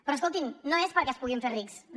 però escoltin no és perquè es puguin fer rics no no